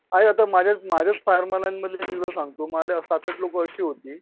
काय आता माझ्याच माझ्याच फार्मलन मधलं मी तुला सांगतो माझ्याकडे सात आत लोक अशी होती